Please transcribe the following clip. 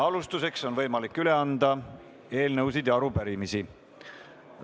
Alustuseks on võimalik üle anda eelnõusid ja arupärimisi.